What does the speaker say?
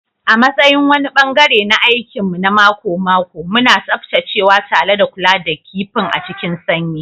A matsayin wani ɓangare na aikin mu na mako-mako, muna tsaftacewa da kula da kifin a cikin sanyi.